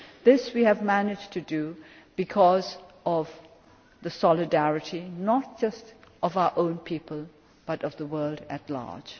This we have managed to do because of the solidarity, not just of our own people, but of the world at large.